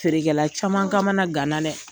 Feerekɛla caman kamana gana lɛ!